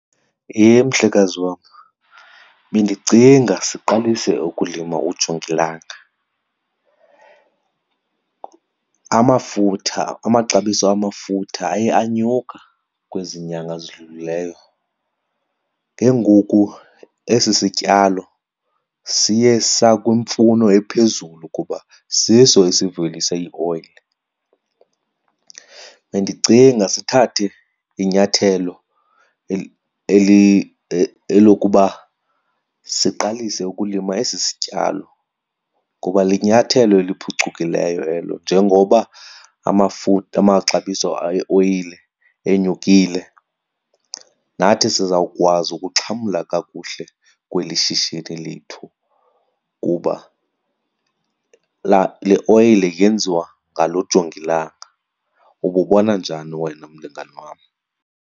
Yhe, mhlekazi wam bendicinga siqalise ukulima ujongilanga. Amafutha amaxabiso amafutha aye anyuka kwezi nyanga zidlulileyo, ke ngoku esi sityalo siye sakwimfuno ephezulu kuba siso esivelisa ioyile. Bendicinga sithathe inyathelo eli elokuba siqalise ukulima esi sityalo ngoba linyathelo eliphucukileyo elo. Njengoba amaxabiso eoyile enyukile, nathi sizawukwazi ukuxhamla kakuhle kweli shishini lethu kuba le oyile yenziwa ngalo jongilanga. Ububona njani wena mlingane wam?